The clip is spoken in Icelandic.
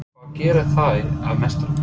Hvað gerir þær að meisturum?